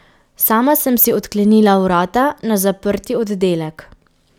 Sama sem si odklenila vrata na zaprti oddelek.